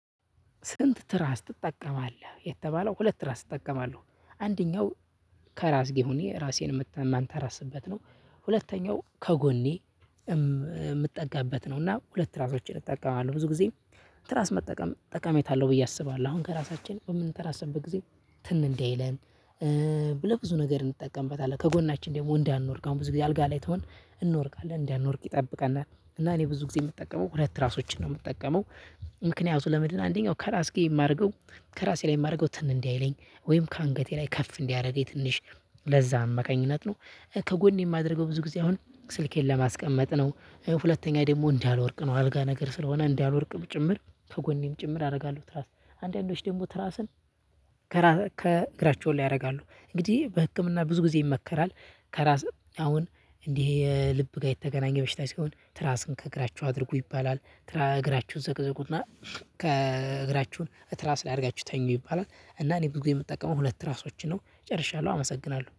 ስንት? ትራስ ትጠቀማለህ የተባለው ሁለት ትራስ እጠቀማለው አንደኛው ከራስ ጌ ሁኔ ራሴን ምት ማንተራስበት ነው ሁለተኛው ከጎኔ የምጠጋበት ነው እና ሁለት ትራሶችን እጠቀማለሁ። ብዙ ጊዜ ትራስ መጠቀም ጠቃሚታ አለው ብዬ አስባለሁ አሁን ከራሳችን በምንተራስበት ጊዜ ትን እንዳይለን። ብልህ ብዙ ነገር እንጠቀምበታለን ከጎናችን ደግሞ እንዳንወድቅ አሁን ብዙ ጊዜ አልጋ ላይ ትሆን እንወድቃለን እንዳንወድቅ ይጠብቃናል እና እኔ ብዙ ጊዜ የምጠቀመው ሁለት ትራሶችን ነው የምጠቀመው። ምክንያቱ ለምንድ ነው? አንደኛው ከራስጌ የማደርገው ከራሴ ላይ የማደርገው ትን እንዳይለኝ ወይም ከአንገቴ ላይ ከፍ እንዲያረገኝ ትንሽ ለዛ አማካኝነት ነው። ከጎኔ የማደርገው ብዙ ጊዜ አሁን ስልኬን ለማስቀመጥ ነው ሁለተኛ ደግሞ እንዳልወድቅ ነው። አልጋ ነገር ስለሆነ እንዳልወድቅም ጭምር ከጎኔም ጭምር አደርጋለሁ ትራስ አንዳንዶች ደግሞ ትራስን ከእግራቸው ላይ ያደርጋሉ። እንግዲህ በህክምና ብዙ ጊዜ ይመከራል። ከራስ አሁን እንዲህ የልብ ጋር የተገናኘ በሽታ ሲሆን ትራስን ከእግራችሁ አድርጉ ይባላል እግራችሁ ዘቅዝቁና ከእግራችሁ እትራስ አድርጋችሁ ተኙ ይባላል። እና እኔ ብዙ የምጠቀመው ሁለት ትራሶችን ነው ጨርሻለሁ አመሰግናለሁ